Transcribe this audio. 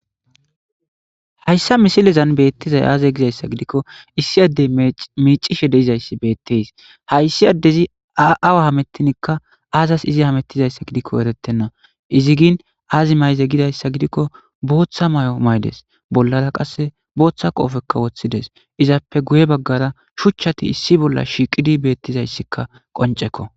Hayssa misilezan beettizay aaze gizayssa gidikko issi addey miicishe deizayssi beetteys hayssi addezi awa hamettinikka aazas izi hamettizayssa gidikko erettenna izigin aazi mayze gidayssa gidikko booththa may7o maydes bollara qasse booththa qoofekka woththides izappe guye baggara shuchchati issi bolla shiiqidi beettizayssikka qoncekko.